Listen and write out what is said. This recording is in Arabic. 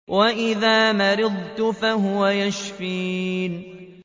وَإِذَا مَرِضْتُ فَهُوَ يَشْفِينِ